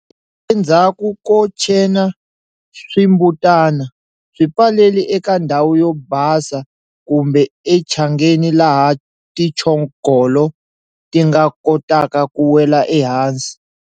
Endzhaku ko tshena swimbutana, swi pfaleli eka ndhawu yo basa kumbe etshangeni laha tintshogolo ti nga kotaka ku wela ehansi.